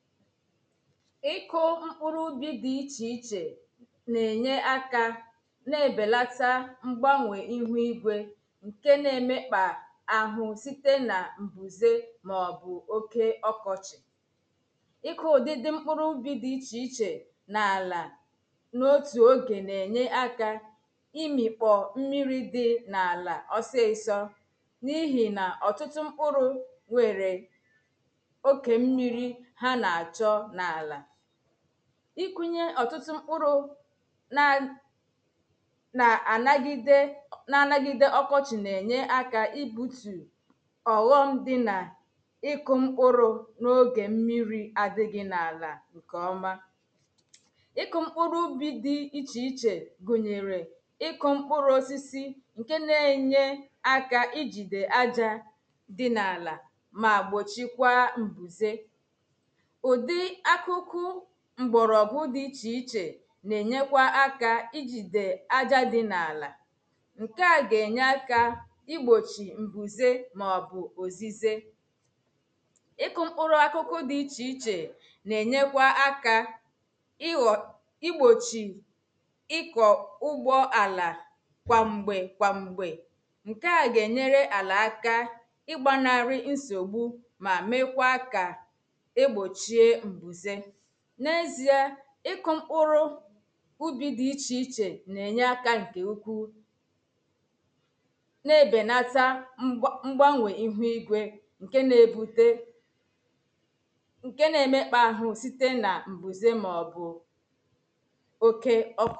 ịkó mkpụrụ ubi dị iche iche na-enye aka na-ebelata mgbanwe ihu igwe nke na-emekpa ahụ site na mbuze maọbụ oke ọkọchị. ịkụ udidi mkpụrụ ubi dị iche iche na ala n'otu oge na-enye aka imi kpọọ mmiri dị n'ala osisọ n'ihi na ọtụtụ mkpụrụ nwere ịkụnye ọtụtụ mkpụrụ na na-anagide na-anagide ọkọchị na-enye aka ibutù ọghọm dị na ịkụ mkpụrụ n’oge mmiri adịghị n’ala ǹkèọma ịkụ mkpụrụ ubi dị iche iche gụnyere ịkụ mkpụrụ osisi nke na-enye aka i jide ajȧ dị n’ala ma gbochikwa mbuzè ǹkè à gà-ènyèkwa àkà ìgbochì ǹgwùzé màọ̀bụ̀ òzízé ìkụ̇ mkpụrụ àkùkù dì ìchèichè nà-ènyekwa àkà ìgbochì ị̀kọ̀ ụ̀gbọ àlà kwàm̀gbè kwàm̀gbè ǹkè à gà-ènyere àlà àkà ịkụ̇ mkpụrụ̇ ubi dị̀ iche iche na-enye aka ǹkè ukwu na-ebènata mgbanwe ihu igwė ǹke na-ebute ǹke na-emekpà ahụ̀ site na m̀bùze màọbụ̀